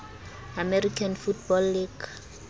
american football league